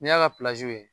N'i y'a ka